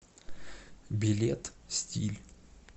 билет стиль